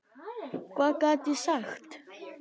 Hvað gat ég sagt?